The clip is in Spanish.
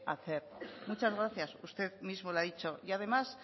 hacer muchas gracias usted mismo lo ha dicho y además